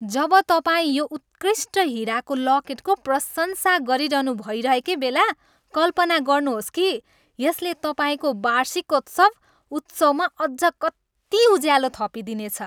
जब तपाईँ यो उत्कृष्ट हिराको लकेटको प्रशंसा गरिरहनु भइरहेकै बेला कल्पना गर्नुहोस् कि यसले तपाईँको वार्षिकोत्सव उत्सवमा अझ कति उज्यालो थपिदिनेछ।